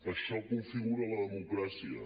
això configura la democràcia